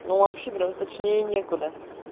ну вообще прямо точнее некуда